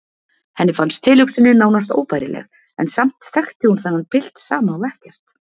Henni fannst tilhugsunin nánast óbærileg en samt þekkti hún þennan pilt sama og ekkert.